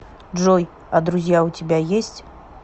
джой а друзья у тебя есть